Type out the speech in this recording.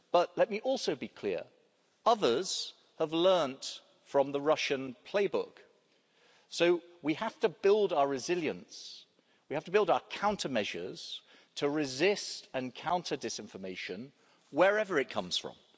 Let me also be clear that others have learned from the Russian playbook, so we have to build our resilience we have to build our counter measures to resist and counter disinformation, wherever it comes from.